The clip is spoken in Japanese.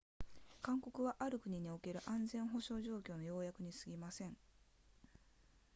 勧告はある国における安全保障状況の要約にすぎません